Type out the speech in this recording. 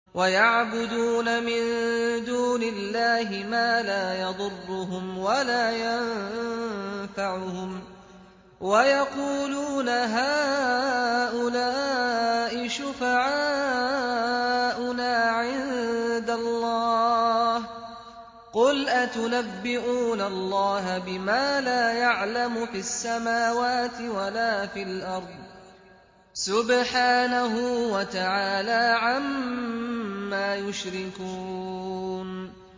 وَيَعْبُدُونَ مِن دُونِ اللَّهِ مَا لَا يَضُرُّهُمْ وَلَا يَنفَعُهُمْ وَيَقُولُونَ هَٰؤُلَاءِ شُفَعَاؤُنَا عِندَ اللَّهِ ۚ قُلْ أَتُنَبِّئُونَ اللَّهَ بِمَا لَا يَعْلَمُ فِي السَّمَاوَاتِ وَلَا فِي الْأَرْضِ ۚ سُبْحَانَهُ وَتَعَالَىٰ عَمَّا يُشْرِكُونَ